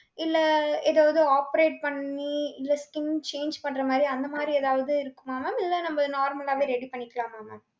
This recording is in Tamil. இல்லை, ஏதாவது operate பண்ணி, இல்லை skin change பண்ற மாதிரி, அந்த மாதிரி ஏதாவது இருக்குமா mam. இல்லை, நம்ம normal லாவே ready உம பண்ணிக்கலாமா, mam.